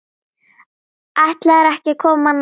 Ætlarðu ekki að koma nær?